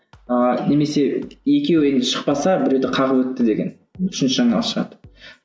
ыыы немесе екеуі енді шықпаса біреуді қағып өтті деген үшінші жаңалық шығады